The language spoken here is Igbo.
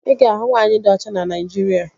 Ị ga-ahụ nwaanyị di ọcha na Naịjirịa